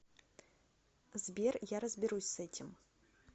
сбер я разберусь с этим